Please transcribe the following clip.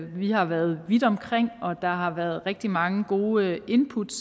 vi har været vidt omkring og der har været rigtig mange gode input